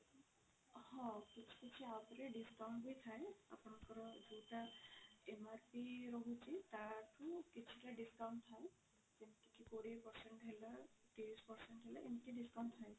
ହଁ କିଛି କିଛି app ରେ discount ବି ଥାଏ ଆପଣଙ୍କର ଯୋଉଟା MRP ରହୁଛି ତାଠୁ କିଛି ତ discount ଥାଏ ଯେମିତି କି କୋଡିଏ percent ହେଲା ତିରିଶି percent ହେଲା ଏମିତି discount ଥାଏ